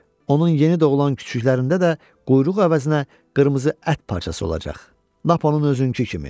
Onun yeni doğulan küçüklərində də quyruq əvəzinə qırmızı ət parçası olacaq, lap onun özünkü kimi.